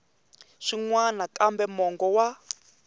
swin wana kambe mongo wa